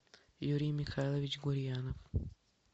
юрий михайлович гурьянов